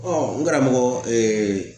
n karamɔgɔ